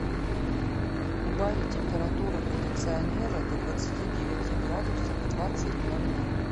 убавить температуру кондиционера до двадцати девяти градусов в двадцать ноль ноль